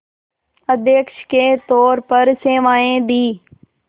अध्यक्ष के तौर पर सेवाएं दीं